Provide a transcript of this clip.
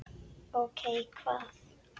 Ókei. hvað?